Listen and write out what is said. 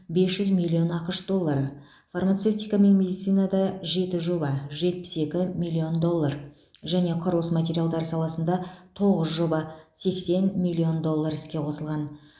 бес жүз миллион ақш доллары фармацевтика мен медицинада жеті жоба жетпіс екі миллион доллар және құрылыс материалдары саласында тоғыз жоба сексен миллион доллар іске қосылған